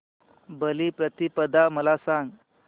बलिप्रतिपदा मला सांग